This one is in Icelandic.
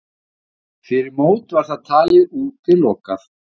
Fyrir mót var það talið útilokað.